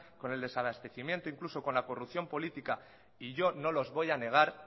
con el desabastecimiento incluso con la corrupción política y yo no los voy a negar